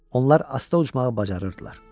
Onlar asta uçmağı bacarırdılar.